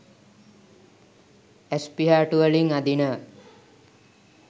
ඇස් පිහාටු වලින් අදිනවා